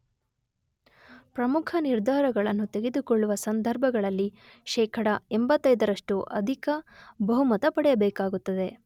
ಪ್ರಮುಖ ನಿರ್ಧಾರಗಳನ್ನು ತೆಗೆದುಕೊಳ್ಳುವ ಸಂದರ್ಭಗಳಲ್ಲಿ ಶೇಖಡ 85 ನಷ್ಟು ಅಧಿಕ ಬಹುಮತ ಪಡೆಯಬೇಕಾಗುತ್ತದೆ.